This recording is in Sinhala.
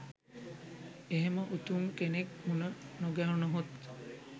එහෙම උතුම් කෙනෙක් මුණ නොගැහුනොත්